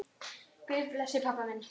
Guð blessi pabba minn.